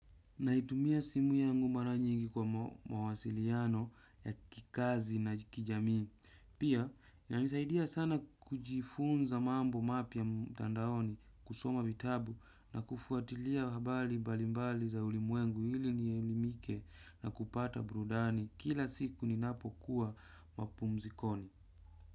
Naitumia simu yangu mara nyingi kwa mawasiliano, ya kikazi na kijamii. Pia, inanisaidia sana kujifunza, mambo mapya mtandaoni. Kusoma vitabu na kufuatilia habari balimbali za ulimwengu ili nielimike, na kupata burudani, kila siku ninapo kuwa mapumzikoni.